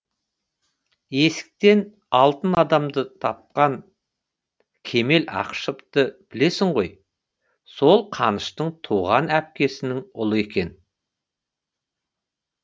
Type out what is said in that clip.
есіктен алтын адамды тапқан кемел ақышевты білесің ғой сол қаныштың туған әпкесінің ұлы екен